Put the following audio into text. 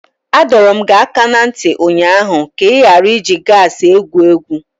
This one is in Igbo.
Adọro m gị aka na ntị ụnyaahụ ka ị ghara iji gasi egwu egwu!